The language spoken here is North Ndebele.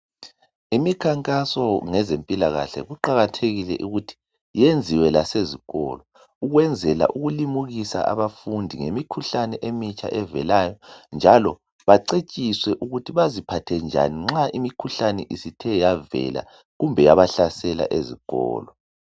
Imikhankaso ngezempilakahle kuqakathekile ukuthi yenziwe lasezikolo ukwenzela ukulimukisa abafundi ngemikhuhlane emitsha evelayo njalo bacetshiswe ukuthi baziphathe njani nxa imikhuhlane isithe yavela kumbe yabahlasela ezikolo.